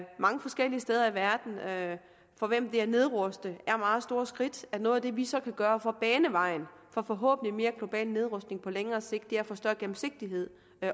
mange forskellige steder i verden for hvem det at nedruste er meget store skridt og noget af det vi så kan gøre for at bane vejen for forhåbentlig mere global nedrustning på længere sigt er at få større gennemsigtighed